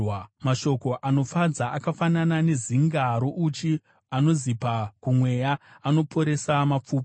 Mashoko anofadza akafanana nezinga rouchi, anozipa kumweya, anoporesa mapfupa.